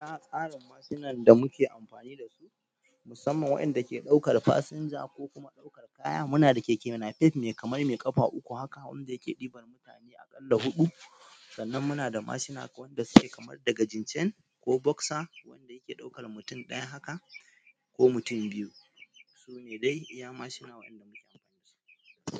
A tsarin mashi nan da muke amfani da su, musamman waɗanda ke ɗaukar fasinja ko kuma ɗaukar kaya, muna da keke napef mai kamar mai ƙafa uku haka wanda yake ɗibar mutane aƙalla huɗu. Sannan muna da mashina wanda su ke kamar daga jincen ko boksa wanda yake ɗaukar mutum ɗaya haka ko mutum biyu. Su ne dai iya mashina waɗanda muke amfani da su.